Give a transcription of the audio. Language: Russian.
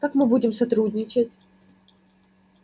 как мы будем сотрудничать